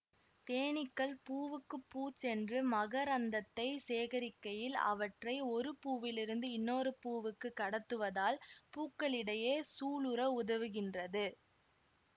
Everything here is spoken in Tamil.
தேனீக்கள் பூவுக்குப் பூ சென்று மகரந்தத்தை சேகரிக்கையில் அவற்றை ஒரு பூவிலிருந்து இன்னொரு பூவுக்கு கடத்துவதால் பூக்களிடையே சூலுற உதவுகின்றது